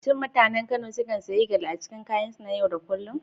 Shin mutanen Kano sukan sanya gele a cikin kayansu na yau da kullun?